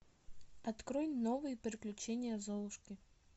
открой новые приключения золушки